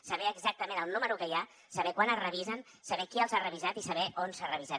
saber exactament el número que hi ha saber quan es revisen saber qui els ha revisat i saber on s’han revisat